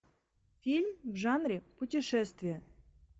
фильм в жанре путешествие